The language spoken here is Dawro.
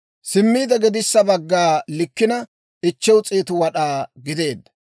Simmiide gedissa bagga likkina 500 wad'aa gideedda.